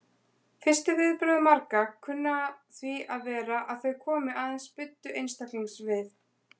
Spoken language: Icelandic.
Fyrstu viðbrögð marga kunna því að vera að þau komi aðeins buddu einstaklingsins við.